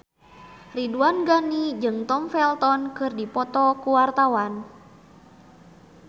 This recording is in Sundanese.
Ridwan Ghani jeung Tom Felton keur dipoto ku wartawan